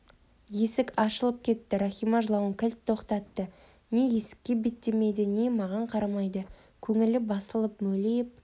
есік ашылып кетті рахима жылауын кілт тоқтатты не есікке беттемейді не маған қарамайды көңілі басылып мөлиіп